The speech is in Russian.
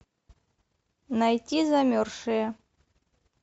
найти замерзшие